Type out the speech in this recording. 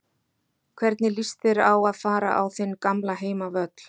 Hvernig lýst þér á að fara á þinn gamla heimavöll?